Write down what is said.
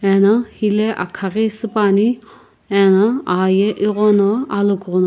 ano hilae akha ghi supane ano ahye eghona alogugho --